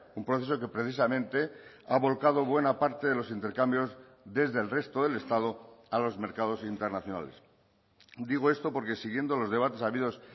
un proceso que precisamente ha volcado buena parte de los intercambios desde el resto del estado a los mercados internacionales digo esto porque siguiendo los debates habidos